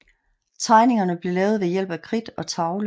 Tegningerne blev lavet ved hjælp af kridt og tavle